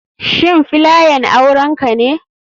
Shin filayan aurenka ne.